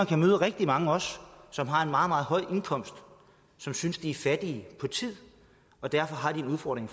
kan møde rigtig mange som har en meget meget høj indkomst og som synes de er fattige på tid og derfor har en udfordring